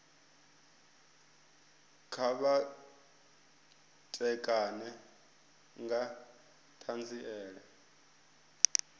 kha vha ṋekane nga ṱhanziela